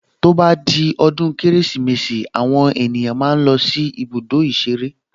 To bá di ọdún Kérésìmesì àwọn èèyàn máa ń lọ sí ibùdó ìṣeré